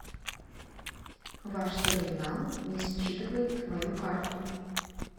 ваш терминал не считывает мою карту